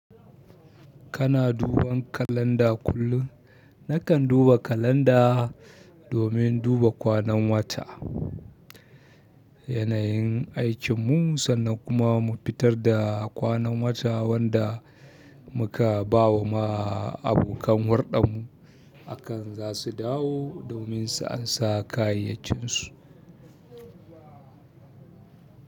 Kana duban kalanda kullum? Na kan duba kalanda domin duba kwanan wata. Yanayin aikin mu sannan kuma mu fitar da kwanan wata wanda. Muka ba wa ma abokan hudar mu. Akan za su dawo domin su ansa kayayyakin su.